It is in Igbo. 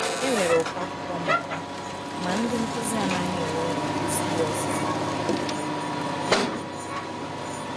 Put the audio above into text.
Enwere ụkọ akwụkwọ mmụta, ma ndị nkuzi adịghị enwe ezigbo ọzụzụ.